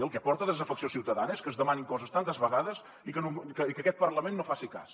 el que aporta desafecció ciutadana és que es demanin coses tantes vegades i que aquest parlament no en faci cas